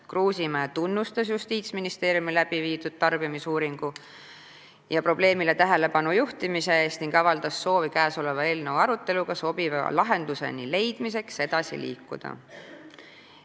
Kruusimäe tunnustas Justiitsministeeriumi tarbimisuuringu ja probleemile tähelepanu juhtimise eest ning avaldas soovi eelnõu aruteluga sobiva lahenduse leidmiseks edasi liikuda.